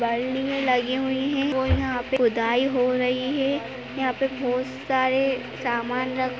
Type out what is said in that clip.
और यहाँ पे खुदाई हो रही है। यहाँ पे बहोत सारे सामान रखे --